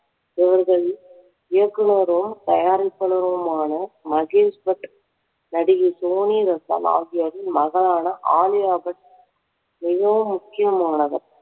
இயக்குனரும் தயாரிப்பாளருமான மகேஷ் பட் நடிகை சோனி ரஸ்டான் ஆகியோரின் மகளான ஆலியா பட் மிகவும் முக்கியமானவர்